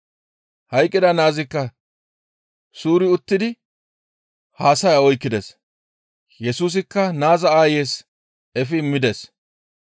Hayqqida naazikka suuri uttidi haasaya oykkides. Yesusikka naaza aayeys efi immides.